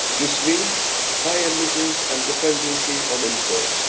oil. This means high emissions and dependency on imports.